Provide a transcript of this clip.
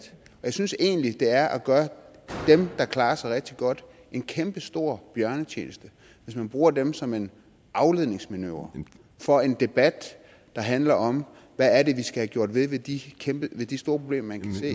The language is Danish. jeg synes egentlig det er at gøre dem der klarer sig rigtig godt en kæmpestor bjørnetjeneste hvis man bruger dem som en afledningsmanøvre for en debat der handler om hvad det er vi skal gjort ved de ved de store problemer man kan se